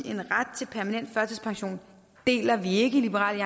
en ret til permanent førtidspension deler vi ikke i liberal